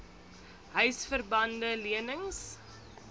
huisver bande lenings